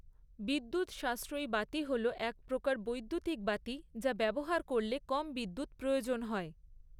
বিদ্যুৎ সাশ্রয়ী বাতি হল এক প্রকার বৈদ্যুতিক বাতি যা ব্যবহার করলে কম বিদ্যুৎ প্রয়োজন হয়।